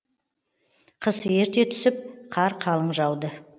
қыс ерте түсіп қар қалың жауды